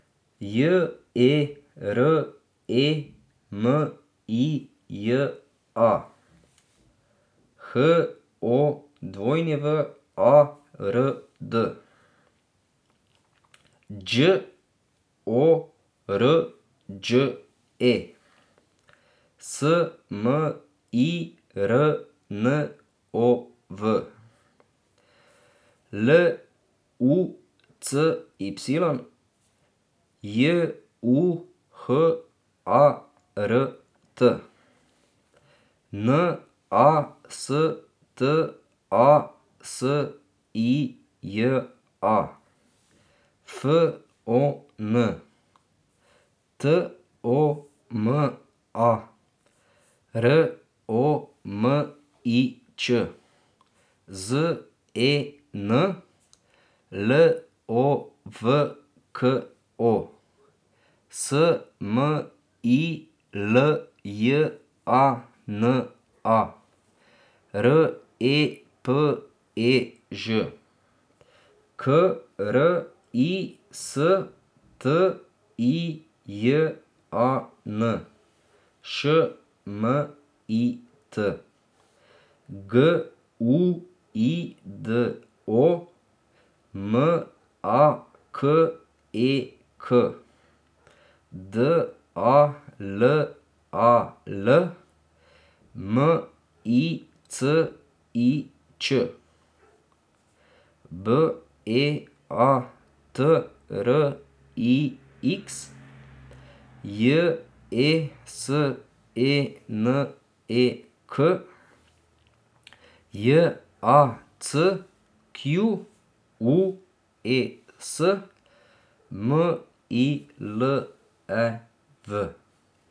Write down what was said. J E R E M I J A, H O W A R D; Đ O R Đ E, S M I R N O V; L U C Y, J U H A R T; N A S T A S I J A, F O N; T O M A, R O M I Č; Z E N, L O V K O; S M I L J A N A, R E P E Ž; K R I S T I J A N, Š M I T; G U I D O, M A K E K; D A L A L, M I C I Ć; B E A T R I X, J E S E N E K; J A C Q U E S, M I L E V.